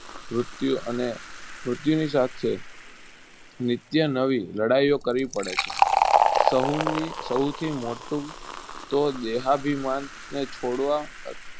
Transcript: મૃત્યુ અને મૃત્યુની સાથે નિત્ય નવી લડાઈઓ કરવી પડે છે. સહુની સૌથી મોટું તો દેહાભિમાનને છોડવા ત